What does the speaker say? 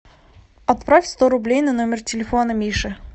отправь сто рублей на номер телефона миши